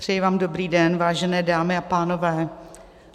Přeji vám dobrý den, vážené dámy a pánové.